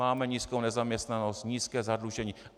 Máme nízkou nezaměstnanost, nízké zadlužení."